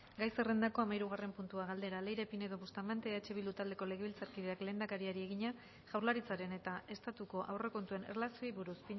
gai zerrendako hamahirugarren puntua galdera leire pinedo bustamante eh bildu taldeko legebiltzarkideak lehendakariari egina jaurlaritzaren eta estatuko aurrekontuen erlazioei buruz